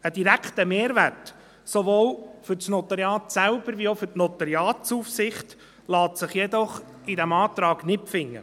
Ein direkter Mehrwert, sowohl für das Notariat selber als auch für die Notariatsaufsicht, lässt sich jedoch in diesem Antrag nicht finden.